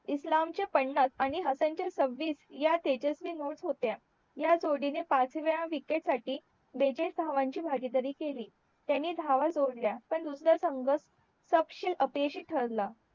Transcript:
इस्लाम चे पन्नास आणि हसन चे सवीस ह्या तेजस्वी होत्या ह्या जोडी ने पाचव्या विकेट साठी बेचाळीस धावांची भागीदारी केली त्याने धाव जोडल्या पण नतंर संघ सपशिल अपयशी ठरला